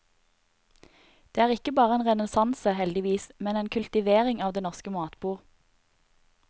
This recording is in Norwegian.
Dette er ikke bare en renessanse, heldigvis, men en kultivering av det norske matbord.